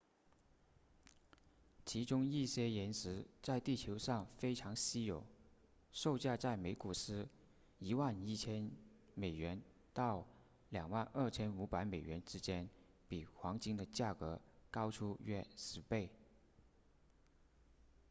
其中一些岩石在地球上非常稀有售价在每盎司 11,000 美元到 22,500 美元之间比黄金的价格高出约十倍